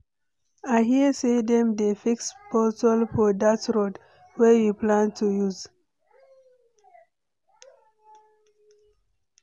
I hear sey dem dey fix pothole for dat road wey we plan to use.